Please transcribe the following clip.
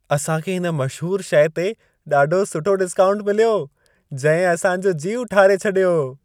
असां खे हिन मशहूर शइ ते ॾाढो सुठो डिस्काऊंट मिलियो, जंहिं असां जो जीउ ठारे छॾियो।